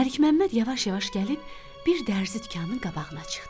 Məlik Məmməd yavaş-yavaş gəlib bir dərzi dükanının qabağına çıxdı.